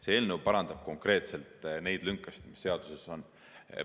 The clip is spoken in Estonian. See eelnõu parandab konkreetselt neid lünkasid, mis seaduses on.